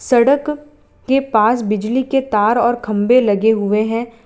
सड़क के पास बिजली के तार और खंभे लगे हुए हैं।